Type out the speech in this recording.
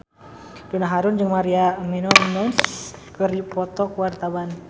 Donna Harun jeung Maria Menounos keur dipoto ku wartawan